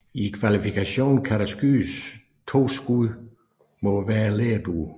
I kvalifikationen kan der skydes to skud mod hver lerdue